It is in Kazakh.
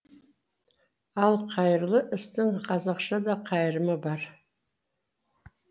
ал қайырлы істің қазақша да қайырымы бар